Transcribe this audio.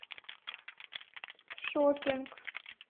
шоппинг